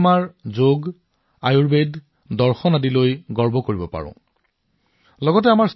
আমি আমাৰ যোগ আয়ুৰ্বেদ দৰ্শন এনে অগণন বিষয় আছে যাৰ বাবে আমি গৌৰৱান্বিত